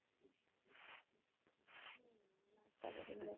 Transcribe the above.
नाष्टा करून जाते